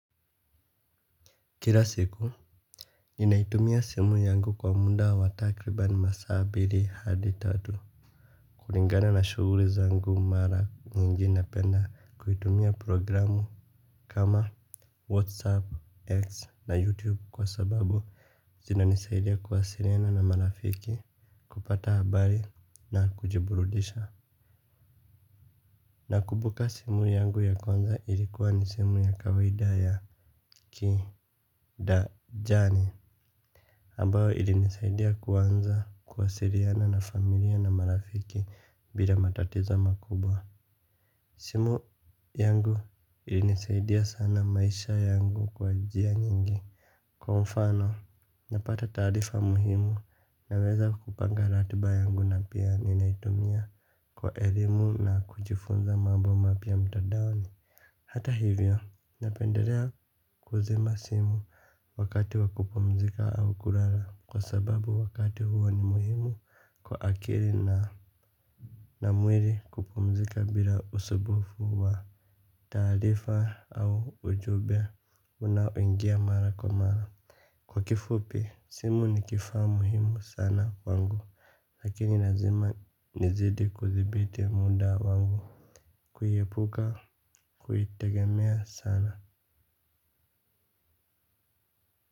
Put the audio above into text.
Kila siku ninaitumia simu yangu kwa muda wa takriban masaa mbili hadi tatu kulingana na shuguri zangu mara nyingi napenda kuitumia programu kama whatsapp x na youtube kwa sababu zinanisaidia kuwasiriana na marafiki kupata habari na kujiburudisha nakubuka simu yangu ya kwanza ilikuwa ni simu ya kawaida ya ki da jani ambao ilinisaidia kuanza kuwasiriana na familia na marafiki bila matatiza makubwa. Simu yangu ilinisaidia sana maisha yangu kwa njia nyingi. Kwa mfano, napata taarifa muhimu naweza kupanga ratiba yangu na pia ninaitumia kwa elimu na kujifunza mambo mapya mtadaoni. Hata hivyo, napenderea kuzima simu. Wakati wa kupumzika au kurara. Kwa sababu wakati huo ni muhimu kwa akiri na na mwiri kupumzika bila usubufu wa taarifa au ujube unaoingia mara kwa mara. Kwa kifupi, simu ni kifaa muhimu sana kwangu. Lakini nazima nizidi kuzibiti muda wangu. Kuyepuka, kuitegemea sana.